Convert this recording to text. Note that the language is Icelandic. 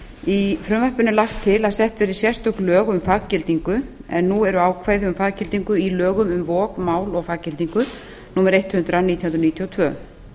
í frumvarpinu er lagt til að sett verði sérstök lög um faggildingu en nú eru ákvæði um faggildingu í lögum um vog mál og faggildingu númer hundrað nítján hundruð níutíu og tvö